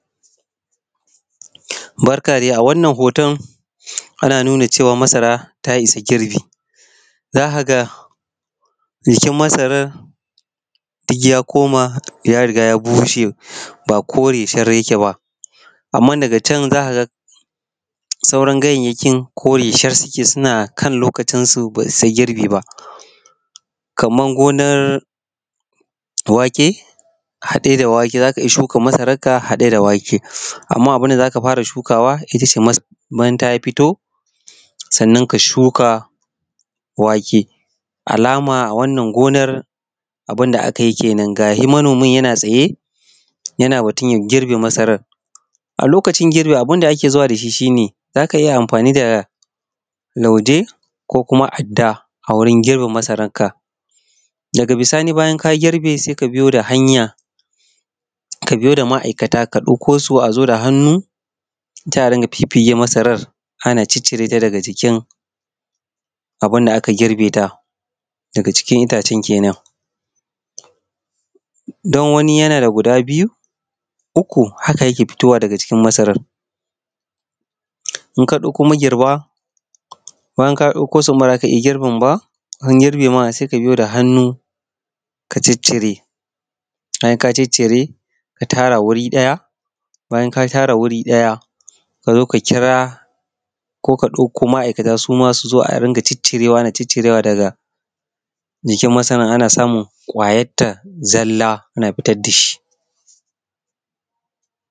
Barka dai a wannan hoton ana nuna cewa masara ta isa girbi, za ka ga jikin masarar duk ya koma ya riga ya bushe ba kore sharaf yake ba amma daga can sauran ganyayyaki kore shar suke suna kan loakcin su ba su girbe kamar gomar wake haɗe da wake ,za ka iya shika masararka hade da wake Amma abun da ka fara shukawa ita ce masara idan ta fita sannan ka shuka wake. Da alama wannan gonar abun da aka yi kenan ga dai manomin yana tsaye ya na girbe masarar. A lokacin girbin abun da ake zuwa da shi, shi ne za ka iya amfani da lauje ko kuma adda a wurin girbin masararka. Daga bisani baya ka girbe sai ka biyo da hanya ka biyo da ma'aikatan ka ɗauko su a zo da hannu taron fiffige masaran. Ana ciccire ta daga cikin abun da aka gurbe ta. Daga cikinita. Don wani yana da guda biyu, uku haka yake fitowa daga jikin masarar idana ka dauko magirba, bayan ka dauko idan ba za ka iya girbin ba, an girbe ma sai ka biyo da hnnu ka ciccire. Bayan ka ciccire ka tara wuri daya bayan ka share wuri daya kk ka ɗauko ma'aikatan su ma su zoa rika ciccire daga jikin masara ana samun kwayarta zalla ta tishi